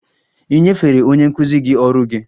Ì nyefere onye nkụzi gị ọrụ gị?